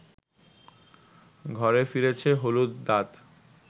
ঘরে ফিরেছে হলুদ দাঁত